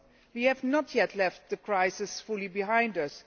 We have not yet left the crisis fully behind us